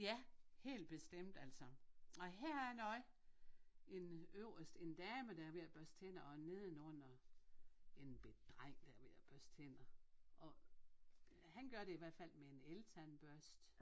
Ja helt bestemt altså og her noget en øverst en dame der er ved at børste tænder og nedenunder en bette dreng der er ved at børste tænder og han gør det i hvert fald med en eltandbørste